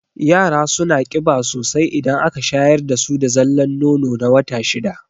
Yara suna ƙiba sosai idan aka shayar dasu da zallan nono na wata shida